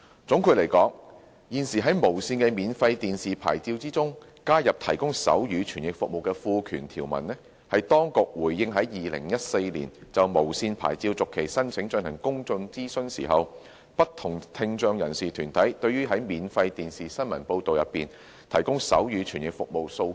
總的來說，現時在無綫的免費電視牌照中加入提供手語傳譯服務的賦權條文，是當局回應在2014年就無綫牌照續期申請進行公眾諮詢時，不同聽障人士團體對於在免費電視新聞報道提供手語傳譯服務的訴求。